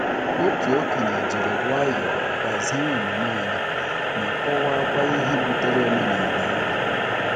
Otu okenye jiri nwayọọ gbazie omume anyị, ma kọwakwa ihe butere omenala ahụ.